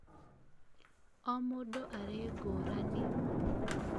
o mũndũ arĩ ngũrani